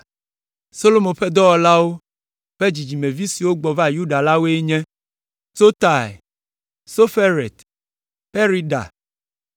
Solomo ƒe dɔlawo ƒe dzidzimevi siwo gbɔ va Yuda la woe nye: Sotai, Soferet, Perida,